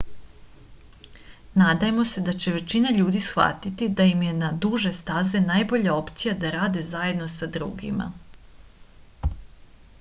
nadajmo se da će većina ljudi shvatiti da je im je na duže staze najbolja opcija da rade zajedno sa drugima